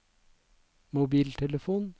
mobiltelefon